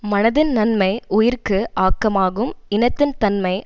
மனதின் நன்மை உயிர்க்கு ஆக்கமாகும் இனத்தின் தன்மை